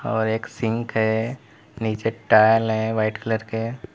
और एक सिंक है नीचे टाइल हैं व्हाइट कलर के।